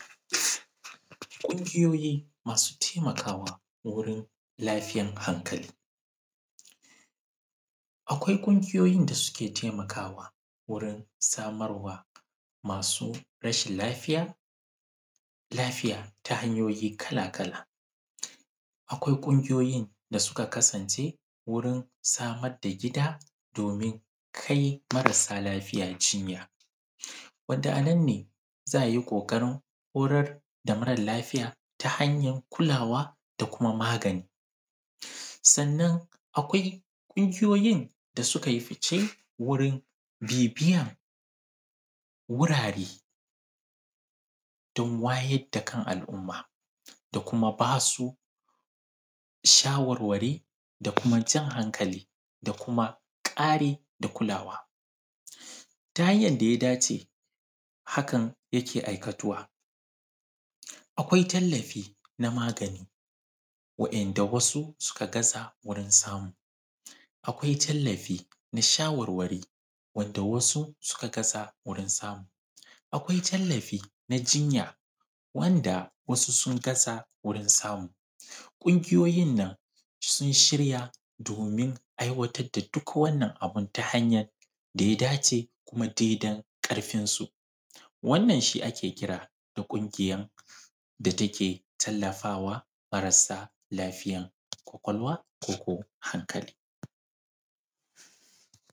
Ƙungiyoyi masu taimakawa wurin lafiyan hankali. Akwai ƙungiyoyin da suke taimakawa wurin samar wa masu rashin laliya, lafiya ta hanyoyi kala-kala. Akwai ƙungiyoyi da suka kasance wurin samar da gida domin kai marasa lafiya jinya, wanda a nan ne za a yi ƙoƙarin horar da mara lafiya ta hanyar kulawa da kuma magani. Sannan akwai ƙungiyoyin da suka yi fice wurin bibiyan wurare don wayar da kan al’umma da kuma ba su shawarwari da kuma jan hankali da kuma ƙari da kulawa. Ta hanyar da ya dace, hakan yake aikatuwa. Akwai tallafi na magani, wa`yanda wasu suka gaza wurin samu. Akwai tallafi na shawarwari, wanda wasu suka gaza wurin samu. Akwai tallafi na jinya wanda wasu suka gaza wurin samu. Ƙungiyoyin nan sun shirya domin aiwatar da duk wannan abin ta hanyan da ya dace, kuma daidai ƙarfinsu. Wannan shi ake kira da ƙungiyan da take tallafa wa marasa lafiyan ƙwaƙwalwa ko ko hankali.